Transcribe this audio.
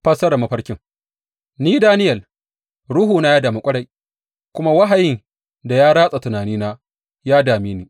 Fassarar mafarkin Ni, Daniyel, ruhuna ya damu ƙwarai, kuma wahayin da ya ratsa tunanina ya dame ni.